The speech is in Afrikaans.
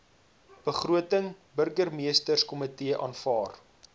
begroting burgemeesterskomitee aanvaar